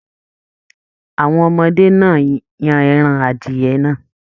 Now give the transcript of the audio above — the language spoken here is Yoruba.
Àwọn ọmọdé náà yan ẹran adiyẹ́ náà.